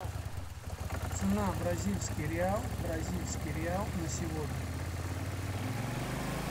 цена бразильский реал бразильский реал на сегодня